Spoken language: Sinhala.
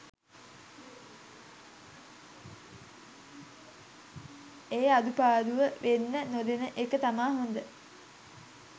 ඒ අඩුපාඩුව වෙන්න නොදෙන එක තමා හොඳ.